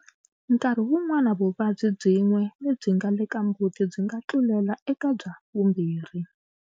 Nkarhi wun'wana vuvabyi byin'we lebyinga le ka mbuti byi nga tlulela eka bya vumbirhi.